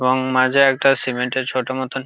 রং মাজা একটা সিমেন্ট -এর ছোট মতন--